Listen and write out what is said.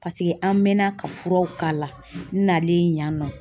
an mɛɛnna ka furaw k'a la n'ale yan nɔ